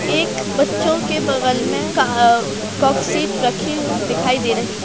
एक बच्चों के बगल मे रखी दिखाई दे रही है।